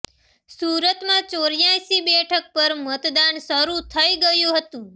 સુરતમા ચોર્યાસી બેઠક પર મતદાન શરૂ થઇ ગયું હતું